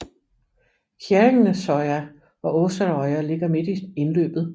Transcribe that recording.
Kjerringnesøya og Åserøya ligger midt i indløbet